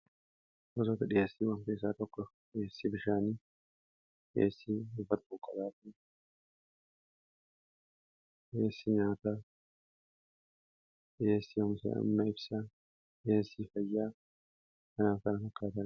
sotoota dhiheessii wanta isaa tokkof dhiheessii bishaanii dhiheessii ubat bukaraati dhiheessi nyaataa dhiheessii amsa amma ibsaa dhiheessii fayyaa kanaa kana fakkaataae